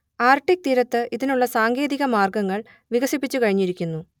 Arctic തീരത്ത് ഇതിനുള്ള സാങ്കേതിക മാർഗങ്ങൾ വികസിപ്പിച്ചു കഴിഞ്ഞിരിക്കുന്നു